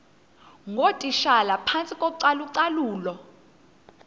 ngootitshala phantsi kocalucalulo